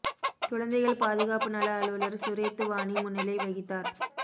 குழந்தைகள் பாதுகாப்பு நல அலுவலா் சுரேத்து வாணி முன்னிலை வகித்தாா்